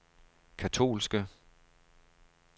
katolske